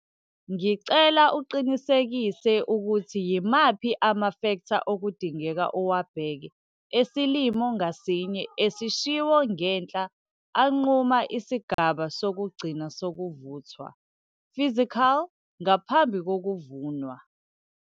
Ngicela uqinisekise ukuthi yimaphi amafektha okudingeka uwabheke esilimo ngasinye esishiwo ngenhla anquma isigaba sokugcina sokuvuthwa - physical ngaphambi kokuvunwa.